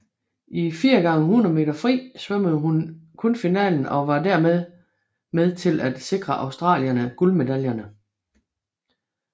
I 4 x 100 m fri svømmede hun kun finalen og var dermed med til at sikre australierne guldmedaljerne